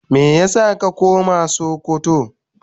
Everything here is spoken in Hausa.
Meya sa ka koma sokoto.?